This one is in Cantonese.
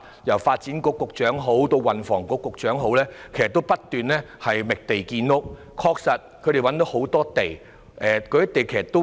由發展局局長以至運輸及房屋局局長都在不斷覓地建屋，而他們亦確實找到很多土地。